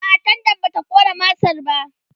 a'a tendan bata ƙona masar ba